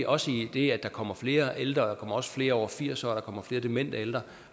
også rigtigt at der kommer flere ældre at der kommer flere over firs år og at der kommer flere demente ældre